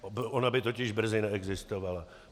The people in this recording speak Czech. Ona by totiž brzy neexistovala.